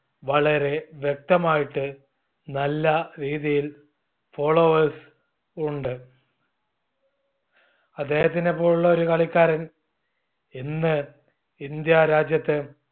വളരെ വ്യക്തമായിട്ട് നല്ല രീതിയിൽ followers ഉണ്ട്. അദ്ദേഹതിനെ പോലുള്ള ഒരു കളിക്കാരൻ ഇന്ന് ഇന്ത്യ രാജ്യത്ത്